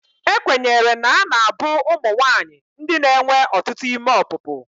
Ekwenyere na a na-abụ ụmụ nwanyị ndị na-enwe ọtụtụ ime ọpụpụ.